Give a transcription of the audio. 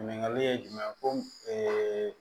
Ɲininkali ye jumɛn ye ko